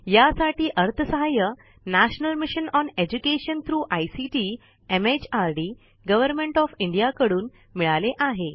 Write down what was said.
यासाठी अर्थसहाय्य the national mission on education through ICT MHRD government of India कडून मिळाले आहे